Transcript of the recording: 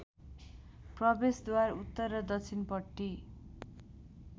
प्रवेशद्वार उत्तर र दक्षिणपट्टि